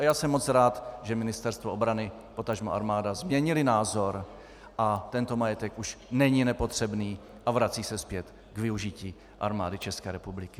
A já jsem moc rád, že Ministerstvo obrany potažmo armáda změnily názor a tento majetek už není nepotřebný a vrací se zpět k využití Armády České republiky.